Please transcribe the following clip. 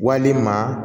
Walima